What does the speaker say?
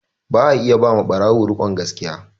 Ba a iya ba ma ɓarawo rikon gaskiya